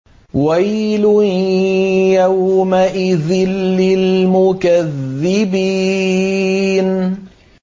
وَيْلٌ يَوْمَئِذٍ لِّلْمُكَذِّبِينَ